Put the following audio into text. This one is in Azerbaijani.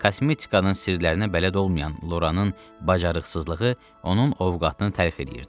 Kosmetikanın sirlərinə bələd olmayan Loranın bacarıqsızlığı onun ovqatını təlx eləyirdi.